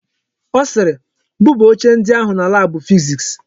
Ọ sịịrị, buba oche ndi ahụ na laabụ fiziks.